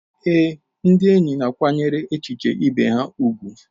Ee, ndị enyi na-akwanyere echiche ibe ha ùgwù.